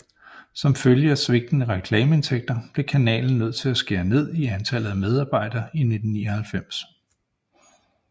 Som følge af svigtende reklameindtægter blev kanalen nødt til at skære ned i antallet af medarbejdere i 1999